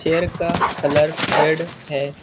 Chair का colour red है।